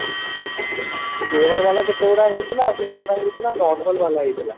flavor ବାଲା କେତେ ଗୁଡା ହେଇଥିଲା ଆଉ କେତେ ଗୁଡା ହେଇଥିଲା normal ବାଲା ହେଇଥିଲା